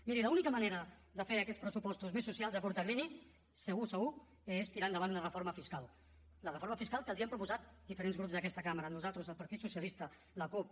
miri l’única manera de fer aquests pressupostos més socials a curt termini segur segur és tirar endavant una reforma fiscal la reforma fiscal que els hem proposat diferents grups d’aquesta cambra nosaltres el partit socialista la cup